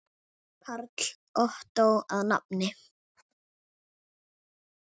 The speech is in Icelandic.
Karl Ottó að nafni.